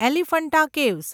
Elephanta caves